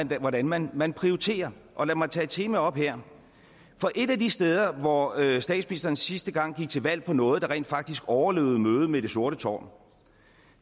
hvordan man man prioriterer og lad mig tage et tema op her for et af de steder hvor statsministeren sidste gang gik til valg på noget der rent faktisk overlevede mødet med det sorte tårn